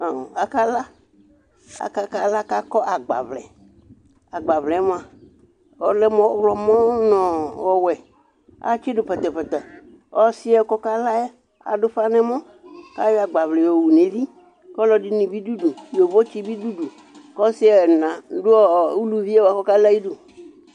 Amʋ, akala, aƙala ƙʋ aƙɔ sgbavlɛAgbavlɛ mʋa, ɔlɛ mʋ ɔɣlɔmɔ nʋ ɔwɛ pǝtǝpǝtǝƆsɩ ƴɛ ƙʋ ɔkala ƴɛ aɖʋ ʋfa n'ɛmɔ ƙʋ aƴɔ agbavlɛ ƴɔ wu nʋ ʋlɩƆlɔ ɖɩnɩ bɩ ɖʋ udu, ƴovo tsɩ ɖɩ bɩ ɖʋ uɖu; ƙʋ ɔsɩ ɛna ɖʋ ɔɔ uluvie bʋa ƙ'ɔƙala ƴɛ aƴidu